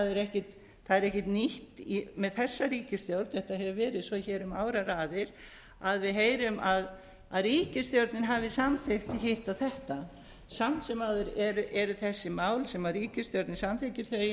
það er ekkert nýtt með þessa ríkisstjórn þetta hefur verið hér svo um áraraðir að við heyrum að ríkisstjórnin hafi samþykkt hitt og þetta samt sem áður eru þessi mál sem ríkisstjórnin samþykkir